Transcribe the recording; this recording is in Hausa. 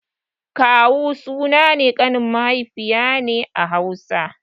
Kawu sunan ƙanin mahaifiya ne a Hausa.